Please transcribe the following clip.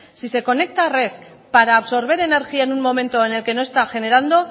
si se conecta a red para absorber energía en un momento en el que no está generando